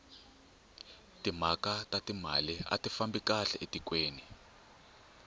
timhaka ta timali ati fambi kahle etikweni